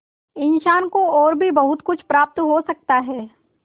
इंसान को और भी बहुत कुछ प्राप्त हो सकता है